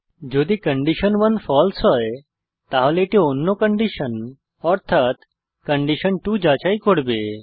যদি কন্ডিশন1 ফালসে হয় তাহলে এটি অন্য কন্ডিশন অর্থাত কন্ডিশন2 যাচাই করবে